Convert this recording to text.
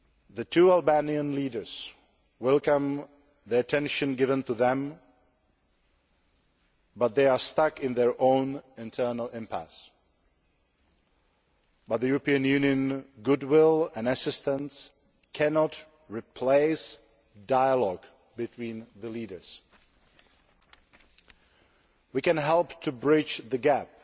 The two Albanian leaders welcome the attention given to them, but they are stuck in their own internal impasse, and European Union goodwill and assistance cannot replace dialogue between the leaders. We can help to bridge the gap